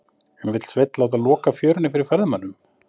En vill Sveinn láta loka fjörunni fyrir ferðamönnum?